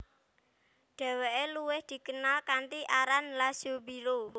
Dheweke luwih dikenal kanthi aran Laszlo Biro